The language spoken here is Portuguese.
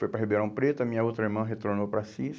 Foi para Ribeirão Preto, a minha outra irmã retornou para Assis.